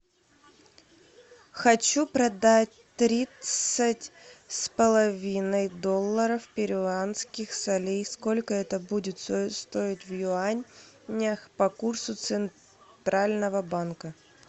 хочу продать тридцать с половиной долларов перуанских солей сколько это будет стоить в юанях по курсу центрального банка